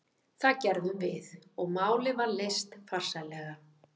Það gerðum við og málið var leyst farsællega.